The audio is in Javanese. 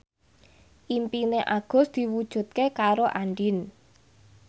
impine Agus diwujudke karo Andien